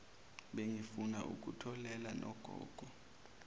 bengifuna ukutholela nogogo